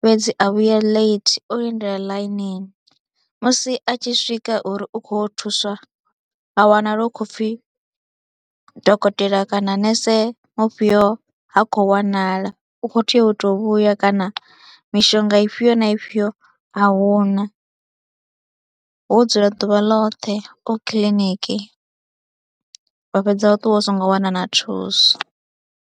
fhedzi a vhuya late o lindela ḽainini musi a tshi swika uri u khou yo u thuswa ha wana lwo khou pfhi dokotela kana nese mufhio ha khou wanala, u khou tea u tou vhuya kana mishonga ifhio na ifhio a hu na, wo dzula ḓuvha ḽoṱhe o kiḽiniki wa fhedza wa ṱuwa u songo wana thuso.